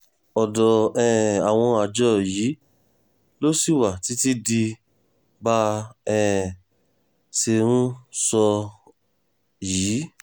ọ̀dọ̀ um àwọn àjọ yìí ló ṣì wà títí di bá um a ṣe ń sọ yìí